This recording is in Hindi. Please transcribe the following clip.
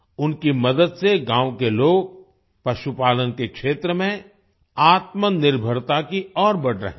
उनकी मदद से गाँव के लोग पशुपालन के क्षेत्र में आत्मनिर्भरता की ओर बढ़ रहे हैं